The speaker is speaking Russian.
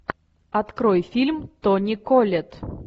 открой фильм тони коллетт